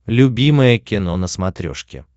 любимое кино на смотрешке